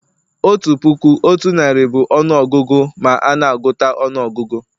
otu puku otu narị bụ ọnụ ọgụgụ ma a n'agụta ọnụọgụgụ